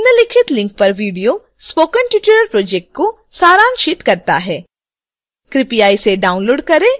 निम्नलिखित link पर video spoken tutorial project को सारांशित करता है कृपया इसे download करें और देखें